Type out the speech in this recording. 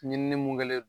Ɲinini mun kɛlen don